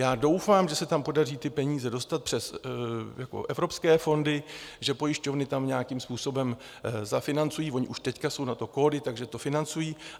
Já doufám, že se tam podaří ty peníze dostat přes evropské fondy, že pojišťovny tam nějakým způsobem zafinancují - ony už teď jsou na to kódy, takže to financují.